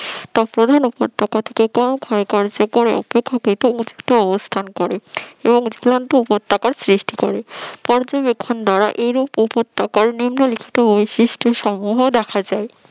প্রধান উপত্যকা থেকে অবস্থান করে উপত্যকা সৃষ্টি করে পর্যবেক্ষণ দ্বারা এরূপ উপত্যকার নিম্ন লিখিত বৈশিষ্ট্য সমূহ দেখা যায়